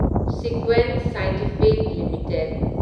Sequent scientific limited